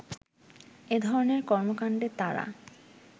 এধরনের কর্মকান্ডে তারা